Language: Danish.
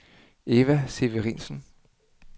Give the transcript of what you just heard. Eva Severinsen